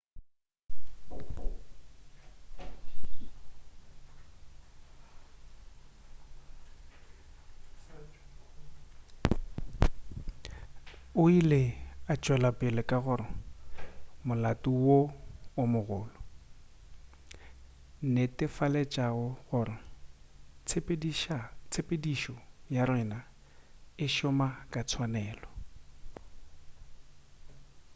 o ile a tšwelapele ka gore molato wo o mogolo netefaletšegang gore tshepedišo ya rena e šoma ka tswanelo